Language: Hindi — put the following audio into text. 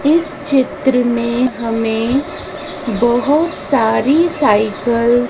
इस चित्र में हमें बहोत सारी साइकल --